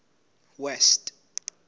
west